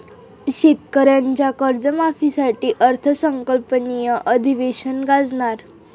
शेतकऱ्यांच्या कर्जमाफीसाठी अर्थसंकल्पीय अधिवेशन गाजणार